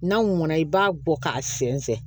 N'a mɔnna i b'a bɔ k'a sɛnsɛn